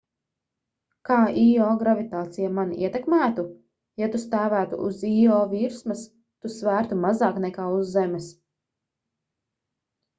kā īo gravitācija mani ietekmētu ja tu stāvētu uz īo virsmas tu svērtu mazāk nekā uz zemes